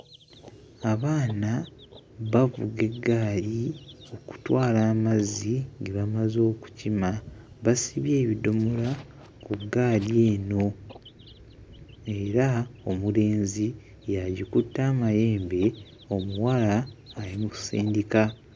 Abaana bavuga eggaali okutwala amazzi ge bamaze okukima. Basibye ebidomola ku ggaali eno era omulenzi y'agikutte amayembe omuwala ayi mu kusindika.